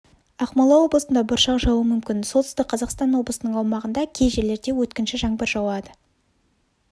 ақмола облысында бұршақ жаууы мүмкін солтүстік қазақстан облысының аумағында кей жерлерде өткінші жаңбыр жауады